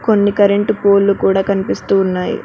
కొన్ని కరెంటు పోల్లు కూడా కనిపిస్తూ ఉన్నాయి.